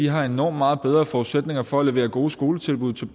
har enormt meget bedre forudsætninger for at levere gode skoletilbud til